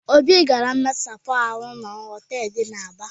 Obi gara mmesapụ ahụ na họtelụ dị n'Aba.